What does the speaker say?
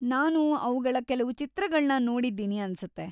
ನಾನು ಅವ್ಗಳ ಕೆಲವು ಚಿತ್ರಗಳ್ನ ನೋಡಿದ್ದೀನಿ ಅನ್ಸತ್ತೆ.